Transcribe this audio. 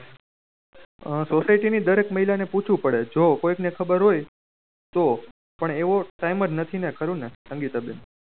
આ society ની દરેક મહિલા ને પુછુ પડે જો કોયિક ને ખબર હોય તો પણ એવુજ time જ નથી ને ખરું ને સંગીતા બેન